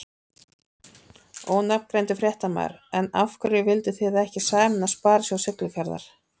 Ónafngreindur fréttamaður: En af hverju vildu þið ekki sameinast Sparisjóð Siglufjarðar?